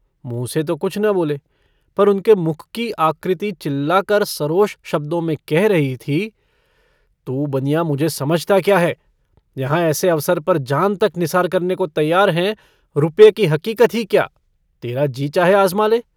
मुँह से तो कुछ न बोले पर उनके मुख की आकृति चिल्ला कर सरोष शब्दों में कह रही थी - तू बनिया मुझे समझता क्या है? यहाँ ऐसे अवसर पर जान तक निसार करने को तैयार हैं। रुपए की हकीकत ही क्या? तेरा जी चाहे आज़मा ले।